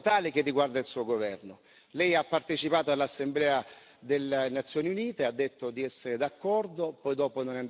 Lei ha partecipato all'assemblea delle Nazioni Unite, ha detto di essere d'accordo, poi dopo non è andato a Marrakesh e poi si è astenuto.